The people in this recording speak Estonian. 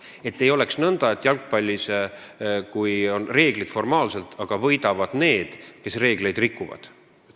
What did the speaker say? Et ei oleks nõnda, et on küll formaalsed reeglid, nagu on näiteks jalgpallis, aga võidavad need, kes reegleid rikuvad.